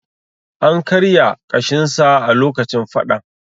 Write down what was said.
An karya ƙashinsa a lokacin fadan.